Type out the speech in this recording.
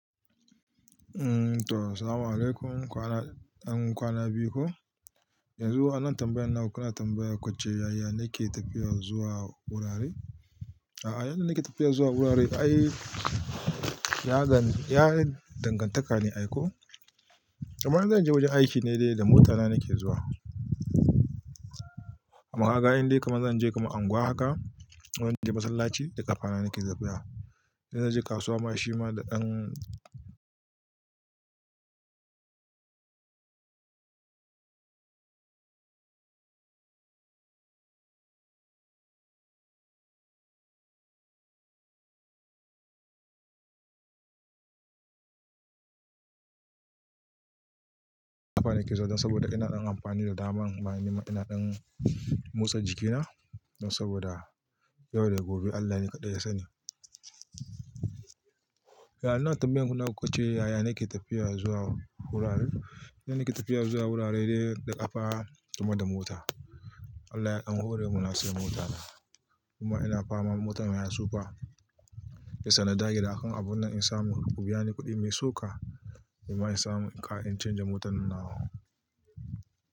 Umm to salam alaykum kwana, an kwana biyu ko? Yanzu wa nan tambayan naku kana tambaya kwacce yaya nake tafiya zuwa wurare? A'a yanda nike tafiya zuwa wurare ai ya gan, ya yi dangantaka ne ai ko? Amma in zan je wajen aiki ne dai da mota na nake zuwa. Amma haga indai kamar zan je kamar unguwa haka wajen de masallaci da ƙafa na nake zuwa. Idan zan je kasuwa ma shima da ɗan ƙafa nake zuwa dan saboda ina amfani da daman manima ina ɗan motsa jikina. Dan saboda yau da gobe Allah ne kadai ya sani. Ya ina tambayan naku kwacce yaya nake tafiya zuwa wurare? Yanda nake tafiya zuwa wurare dai da ƙafa kuma da mota. Allah ya ɗanho re mun na siya mota kuma ina fama motar mayasu fa. Shiyasa na dage da akan abun nan in samu ku biya ni kuɗi mai so ka, kuma in samu in canza motan na.